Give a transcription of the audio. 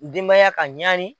Denbaya ka ɲaani